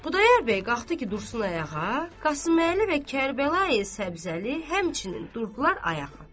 Xudayar bəy qalxdı ki, dursun ayağa, Qasıməli və Kərbəlayi Səbzəli həmçinin durdular ayağa.